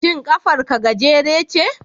Shin kafar ka gajere ce?